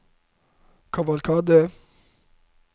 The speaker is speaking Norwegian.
kavalkade